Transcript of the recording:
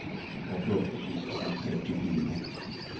åttiåtte tusen og trettifire